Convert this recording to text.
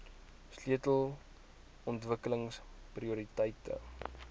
sleutel ontwikkelings prioriteite